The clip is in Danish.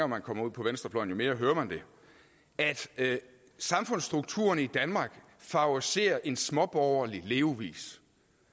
man kommer ud på venstrefløjen jo mere hører man det at samfundsstrukturerne i danmark favoriserer en småborgerlig levevis